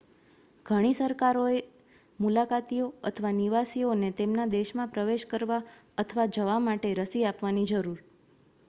ઘણી સરકારોએ મુલાકાતીઓ અથવા નિવાસીઓને તેમના દેશમાં પ્રવેશ કરવા અથવા જવા માટે રસી આપવાની જરૂર